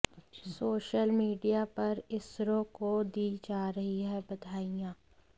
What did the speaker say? social media पर इसरो को दी जा रही हैं बधाइयां